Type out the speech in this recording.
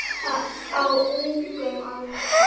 Á ungum aldri.